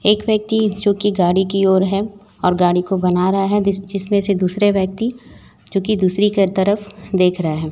एक व्यक्ति जो कि गाड़ी की ओर है और गाड़ी को बना रहा है जिस जिसमें से दुसरे व्यक्ति जो कि दूसरी की तरफ देख रहा है।